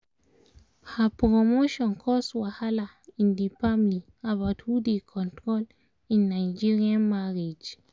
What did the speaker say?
her promotion cause wahala in the family about who dey control in nigerian marriage